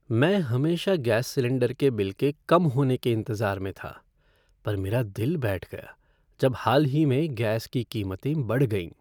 मैं हमेशा gas cylinder के बिल के कम होने के इंतज़ार में था पर मेरा दिल बैठ गया जब हाल ही में गैस की कीमतें बढ़ गईं।